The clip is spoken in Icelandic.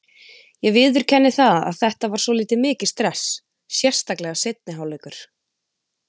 Ég viðurkenni það að þetta var svolítið mikið stress, sérstaklega seinni hálfleikur.